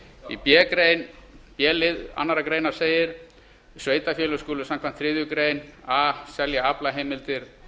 í b lið annarrar greinar sveitarfélög samkvæmt þriðju grein a skulu selja aflaheimildir